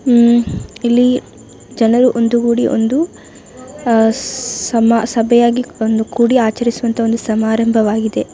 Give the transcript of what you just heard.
ಹ್ಮ್ಮ್ ಇಲ್ಲಿ ಜನರು ಒಂದು ಗೂಡಿ ಒಂದು ಸಮಾ ಸಭೆಯಾಗಿ ಒಂದು ಕೂಡಿ ಆಚರಿಸುವ ಒಂದು ಸಮಾರಂಭವಾಗಿದೆ .